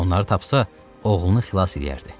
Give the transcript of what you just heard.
Onları tapsa, oğlunu xilas edəcəkdi.